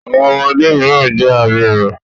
Àwọn ọmọdé mìíràn jẹ abirùn.